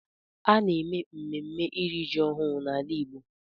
A na-eme mmemme iri ji ọhụụ n’ala igbo